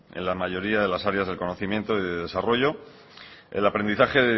en la mayoría de las áreas del conocimiento y del desarrollo el aprendizaje